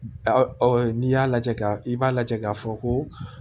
n'i y'a lajɛ ka i b'a lajɛ k'a fɔ ko